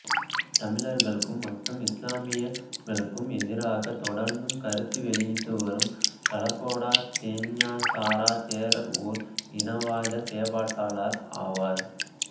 தமிழர்களுக்கும் மற்றும் இஸ்லாமியர்களுக்கும் எதிராக தொடர்ந்தும் கருத்து வெளியிட்டு வரும் கலகொடாத்தே ஞானசார தேரர் ஓர் இனவாத செயற்பாட்டாளர் ஆவார்